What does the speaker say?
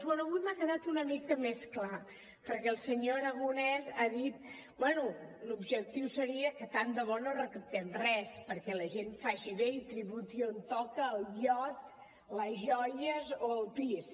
bé avui m’ha quedat una mica més clar perquè el senyor aragonès ha dit bé l’objectiu seria que tant de bo no recaptem res perquè la gent faci bé i tributi on toca el iot les joies o el pis